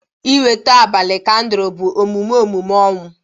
Ịnweta abalị kandụl bụ emume emume ọnwụ